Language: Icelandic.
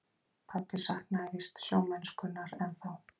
Pabbi saknaði víst sjómennskunnar ennþá.